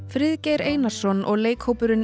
Friðgeir Einarsson og leikhópurinn